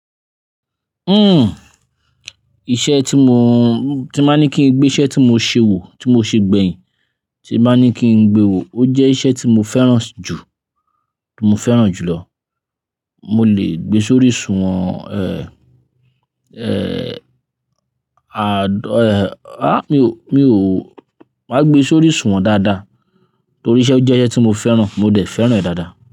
Uhm, iṣẹ́ tí mo, tí máa ní kí n gbé iṣẹ́ tí mo ṣe wò, tí mo ṣe gbẹ̀yìn, tí máa ní kí n gbe wò, ó jẹ́ iṣẹ́ tí mo fẹ́ràn jù, tí mo fẹ́ràn jù lọ. Mo lè gbe sórí ìṣùwọ̀n, eh, eh, à, dó, eh, ah, mi ò, mi ò, máa gbe sórí ìṣùwọ̀n dáadáa torí iṣẹ́ ó jẹ́ iṣẹ́ tí mo fẹ́ràn, mo dẹ̀ fẹ́ràn rẹ̀ dáadáa.